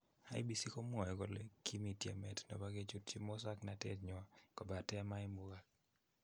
IEBC komwae kole kimii tyemeet nepo kechutchi musoknoteet nywaa kobateemaimuchaak.